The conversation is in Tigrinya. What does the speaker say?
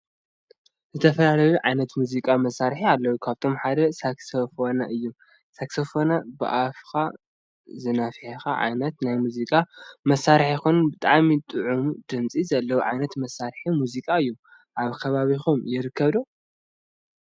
ዝተፈላለዩ ዓይነታት ናይ ሙዚቃ መሳሪሒ አለው ካብአቶም ሓደ ሳክስፎነ እዩ። ሳክስፎን ብአፍካ ዝኒፋሕ ዓይነት ናይ ሙዚቃ ማሳሪሒ ኮይኑ ብጣዕሚ ጡዕሙ ድምፅ ዘለዎ ዓይነት መሳሪሒ ሙዚቃ እዩ። አብ ከባቢኩም ይርከብ ዶ?